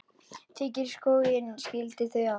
Þykkur skógur skilur þau að.